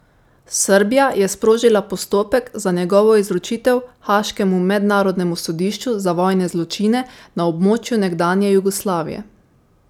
Srbija je sprožila postopek za njegovo izročitev haaškemu Mednarodnemu sodišču za vojne zločine na območju nekdanje Jugoslavije.